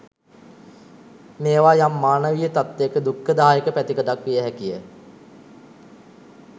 මේවා යම් මානවීය තත්ත්වයක දුක්ඛදායක පැතිකඩක් විය හැකිය.